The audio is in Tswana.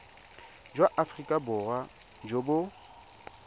jwa aforika borwa jo bo